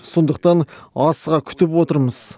сондықтан асыға күтіп отырмыз